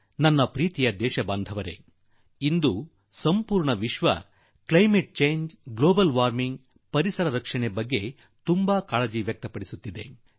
ನನ್ನೊಲವಿನ ದೇಶವಾಸಿಗಳೇ ಈಗ ಇಡೀ ವಿಶ್ವ ಹವಾಮಾನ ಬದಲಾವಣೆ ಜಾಗತಿಕ ತಾಪಮಾನ ಪರಿಸರ ಇವುಗಳ ಬಗ್ಗೆ ಬಹಳ ಕಳವಳಗೊಂಡಿದೆ